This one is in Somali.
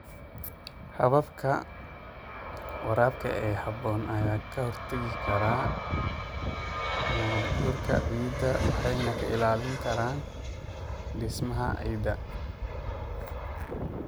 Hababka waraabka ee habboon ayaa ka hortagi kara nabaad-guurka ciidda waxayna ilaalin karaan dhismaha ciidda.